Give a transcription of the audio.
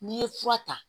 N'i ye fura ta